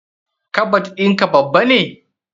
Kabad in ka babba ne?